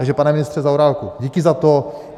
Takže pane ministře Zaorálku, díky za to.